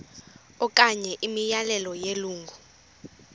okanye imiyalelo yelungu